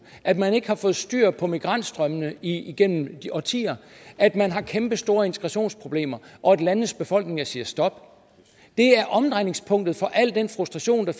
at man ikke har fået styr på migrantstrømmene igennem årtier at man har kæmpestore integrationsproblemer og at landenes befolkninger siger stop det er omdrejningspunktet for al den frustration der